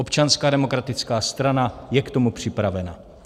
Občanská demokratická strana je k tomu připravena.